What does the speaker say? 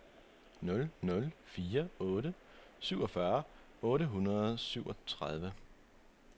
nul nul fire otte syvogfyrre otte hundrede og syvogtredive